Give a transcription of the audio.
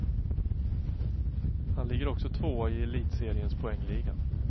Han ligger också tvåa i elitseriens poängliga.